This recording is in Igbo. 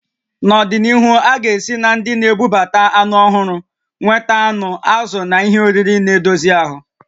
Nọdịnihu, a ga-esi na ndị na-ebubata anụ ọhụrụ nweta anụ, azụ̀ na ihe oriri na-edozi ahụ